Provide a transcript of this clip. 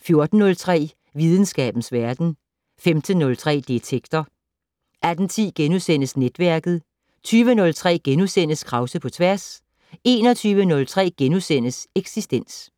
14:03: Videnskabens Verden 15:03: Detektor 18:10: Netværket * 20:03: Krause på tværs * 21:03: Eksistens *